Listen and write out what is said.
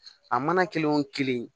A mana kelen o kelen